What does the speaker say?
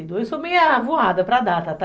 Eu sou meio voada para data, tá?